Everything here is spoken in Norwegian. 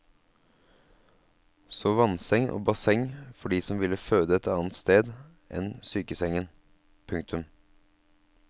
Så vannseng og basseng for de som ville føde et annet sted enn sykesengen. punktum